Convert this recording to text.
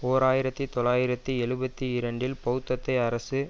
ஓர் ஆயிரத்தி தொள்ளாயிரத்தி எழுபத்து இரண்டில் பெளத்தத்திய அரசு